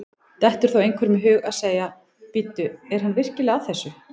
Dettur þá einhverjum í hug að segja: Bíddu, er hann virkilega að þessu?